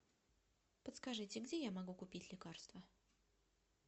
подскажите где я могу купить лекарства